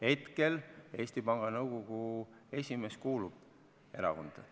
Hetkel Eesti Panga Nõukogu esimees kuulub erakonda.